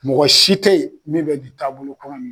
Mɔgɔ si te yen min bɛ nin taabolo kɔnɔ in na